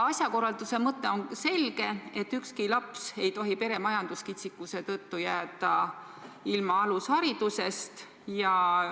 Asjakorralduse mõte on selge: ükski laps ei tohi pere majanduskitsikuse tõttu jääda ilma alusharidusest.